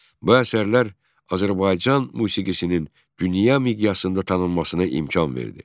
Bu əsərlər Azərbaycan musiqisinin dünya miqyasında tanınmasına imkan verdi.